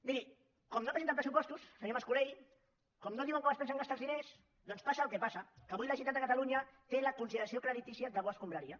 miri com que no presenten pressupostos senyor mas colell com que no diuen com es pensen gastar els diners doncs passa el que passa que avui la generalitat de catalunya té la consideració creditícia de bo escombraria